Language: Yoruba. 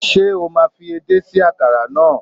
Ṣé o máa fi edé sí àkàrà náà.